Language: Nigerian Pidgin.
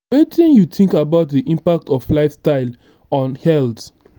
wetin you think about di impact of lifestyle on health?